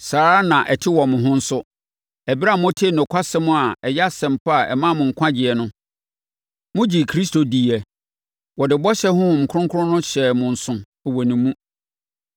Saa ara na ɛte wɔ mo ho nso. Ɛberɛ a motee nokwasɛm a ɛyɛ Asɛmpa a ɛmaa mo nkwagyeɛ no, mogyee Kristo diiɛ. Wɔde bɔhyɛ Honhom Kronkron no hyɛɛ mo nso wɔ ne mu.